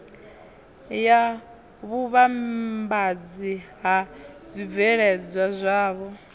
ya vhuvhambadzi ha zwibveledzwa zwavho